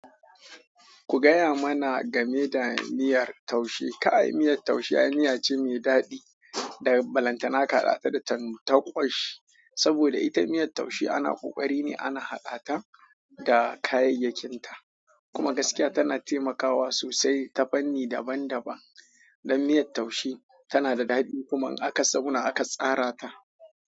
Ku gaya mana game da miyar taushe. Kai miyar taushe ai miya ce mai daɗi da balantana ka haɗa ta da tantaƙwashi. Saboda ita miyar taushe ana ƙoƙari ne ana haɗa ta da kayayyakinta, kuma gaskiya tana taimakawa sosai ta fanni daban-daban. Dan miyar taushe tana da daɗi kuma in a ka zauna aka tsara ta.